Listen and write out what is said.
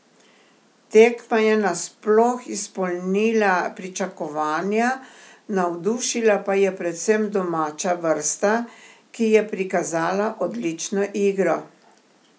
Tekma je nasploh izpolnila pričakovanja, navdušila pa je predvsem domača vrsta, ki je prikazala odlično igro.